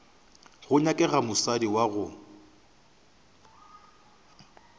go nyakega mosadi wa gago